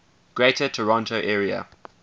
greater toronto area